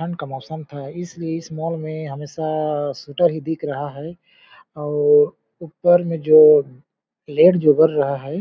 ठंड का मौसम था इसलिए इस मॉल में हमेशा सूटर ही दिख रहा है और ऊपर में जो लेड जो बर रहा है